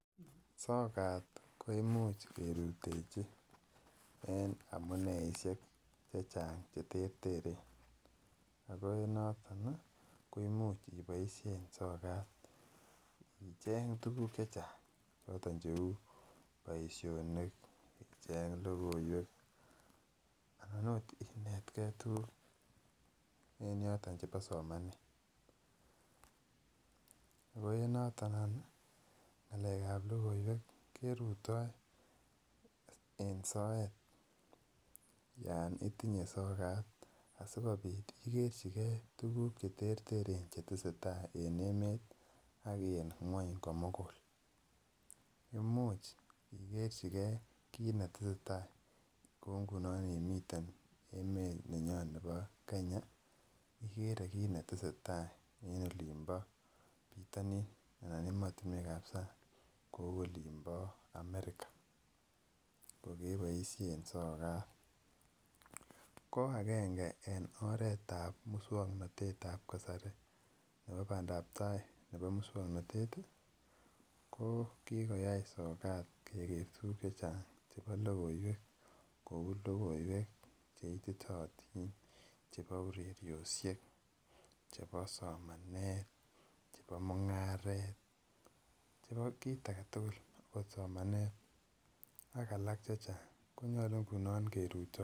Sokat koimuch kerutechi en amuneisiek cheterteren. Ako en naton ih koimuch iboisien sokat , icheng tuguk chechang chaton cheuu boisionik icheng logoiwek anan Okot inetekei tuguk en yoton chebo somanet ako en naton any ih , ng'alekab logoiwek keruto en soet Yoon itinye sokat asikobit ikerchike tuguk chetesetai en emeet ak en ng'uany komugul. Imuch ikerchike kit agetugul netesetai imi emooni nyon bo Kenya igere kit netesetai en bitanin anan emotinuekab sang. Kouu olimbo America kokebaisien sogat. Ko age6en oretab musuaknotetab kasari nebo bandabtai nebo mukswanotet ih ko kikoyai sokat keker tuguk chechang kouu ireriosiek,, chebo somanet, chebo mung'arosiek chebo kit agetugul, konyalu kerutechini sokat.